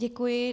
Děkuji.